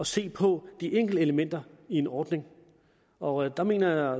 se på de enkelte elementer i en ordning og der mener jeg